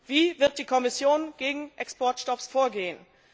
Wie wird die Kommission gegen Exportstopps vorgehen?